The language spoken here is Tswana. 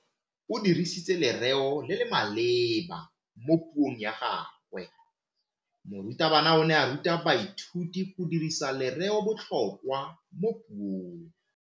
O dirisitse lerêo le le maleba mo puông ya gagwe. Morutabana o ne a ruta baithuti go dirisa lêrêôbotlhôkwa mo puong.